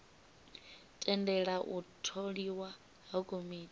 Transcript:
tendela u tholiwa ha komiti